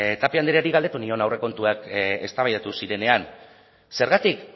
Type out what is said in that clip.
tapia andreari galdetu nion aurrekontuak eztabaidatu zirenean zergatik